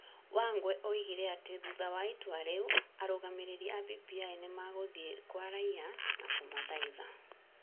Wangwe oigire atĩ thutha wa itua rĩu, arũgamĩrĩri a BBI nĩ magũthiĩ kwa raiya na kũmathaitha ,